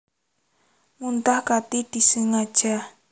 Muntah kanthi disengaja